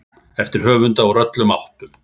eftir höfunda úr öllum áttum.